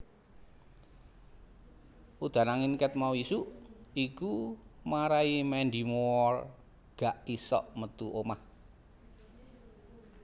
Udan angin ket mau isuk iku marai Mandy Moore gak isok metu omah